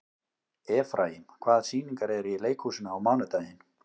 Efraím, hvaða sýningar eru í leikhúsinu á mánudaginn?